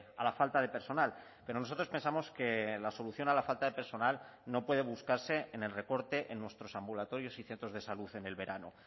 a la falta de personal pero nosotros pensamos que la solución a la falta de personal no puede buscarse en el recorte en nuestros ambulatorios y centros de salud en el verano